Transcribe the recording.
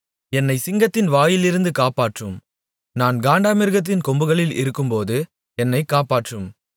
என்னைச் சிங்கத்தின் வாயிலிருந்து காப்பாற்றும் நான் காண்டாமிருகத்தின் கொம்புகளில் இருக்கும்போது என்னைக் காப்பாற்றும்